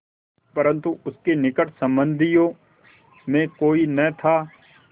परन्तु उसके निकट संबंधियों में कोई न था